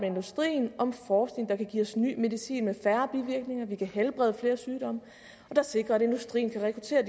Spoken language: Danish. industrien om forskning der kan give os ny medicin med færre bivirkninger så vi kan helbrede flere sygdomme og der sikrer at industrien kan rekruttere